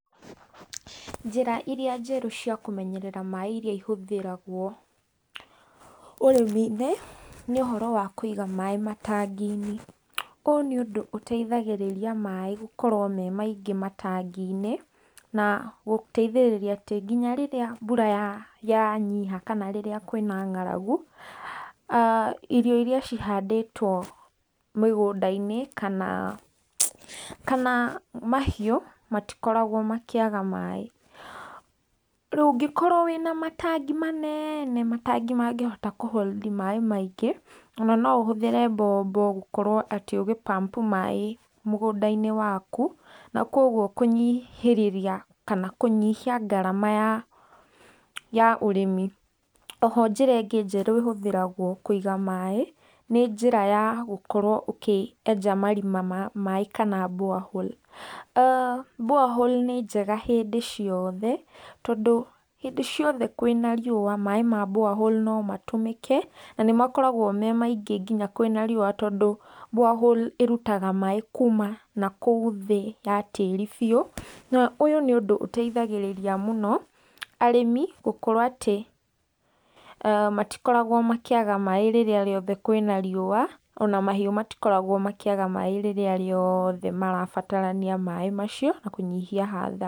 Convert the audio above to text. Njĩra iria njerũ cia kũmenyerera maĩ iria ihũthĩragwo ũrĩmi-inĩ, nĩ ũhoro wa kũiga maĩ matangi-inĩ, ũũ nĩ ũndũ ũteithagĩrĩria maĩ gũkorwo me maingĩ matangi-inĩ, na gũteithĩrĩria atĩ nginya rĩrĩa mbura yanyiiha kana rĩrĩa kwina ng’aragu, irio iria cihandĩtwo mĩgũnda-inĩ, kana mahiũ matikoragwo makĩaga maĩ, ũngĩkorwo wĩna matangi manene, matangi mangĩhota kũ hold maĩ maingĩ, ona no ũhũthĩre mbombo gũkorwo atĩ ũgĩ- pump maĩ mũgũnda-inĩ waku, na koguo kũnyihia ngarama ya ũrĩmi, oho njĩra ĩngĩ njerũ ĩhũthĩragwo kũiga maĩ, nĩ gũkorwo ũkĩenja marima ma maĩ kana borehole cs]borehole nĩ njega hĩndĩ ciothe tondũ hĩndĩ ciothe kwina riũa maĩ ma borehole no matũmĩke, na nĩmakoragwo me maingĩ nginya kwina riũa tondũ borehole ĩrutaga maĩ kũũma nakũu thĩ ya tĩĩri biũ, na ũyũ nĩ ũndũ ũteithagĩrĩria mũno arĩmi gũkorwo atĩ matikoragwo makĩaga maĩ rĩrĩa rĩothe kwina riũa, ona mahiũ matikoragwo makĩaga maĩ rĩrĩa riothe marabatarania maĩ macio, na kũnyihia hathara.